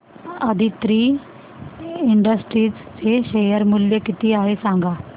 Aditri industries चे share मूल्य किती आहे सांगा